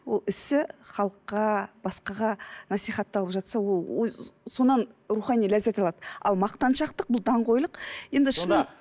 ол ісі халыққа басқаға насихатталып жатса ол рухани ләззат алады ал мақтаншақтық бұл даңқойлық енді шын